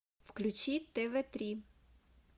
включи тв три